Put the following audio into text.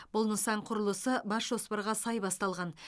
бұл нысан құрылысы бас жоспарға сай басталған